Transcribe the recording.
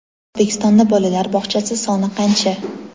O‘zbekistonda bolalar bog‘chasi soni qancha?.